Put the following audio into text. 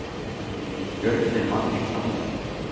Björninn vann í framlengingu